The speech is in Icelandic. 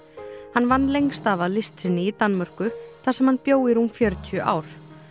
hann vann lengst af að list sinni í Danmörku þar sem hann bjó í rúm fjörutíu ár